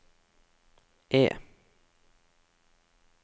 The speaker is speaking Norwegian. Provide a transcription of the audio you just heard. E